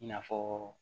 I n'a fɔ